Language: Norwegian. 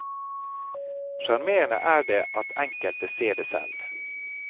Sjarmerende er det at enkelte ser det selv.